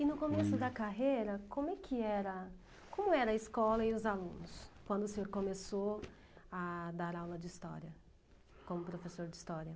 E no começo da carreira, como que era, como era a escola e os alunos, quando o senhor começou a dar aula de história, como professor de história?